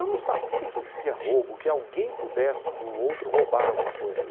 Eu não sabia que existia roubo, que alguém pudesse do outro roubar alguma coisa.